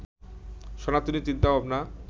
সনাতনী চিন্তাভাবনা